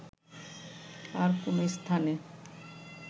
আর কোনো স্থানে